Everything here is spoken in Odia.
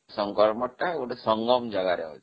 ଶଙ୍କର ମଠଟା ଗୋଟେ ସଂଗମ ଜାଗାରେ ଅଛି